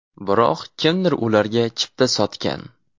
Biroq kimdir ularga chipta sotgan.